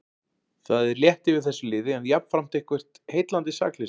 Það er létt yfir þessu liði en jafnframt eitthvert heillandi sakleysi.